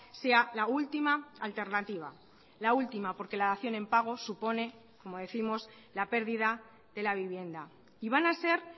sea la última alternativa la última porque la dación en pago supone como décimos la pérdida de la vivienda y van a ser